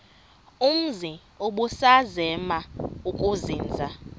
umzi ubusazema ukuzinza